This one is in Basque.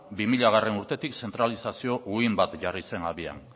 bi milagarrena urtetik zentralizazio uhin bat jarri zen abian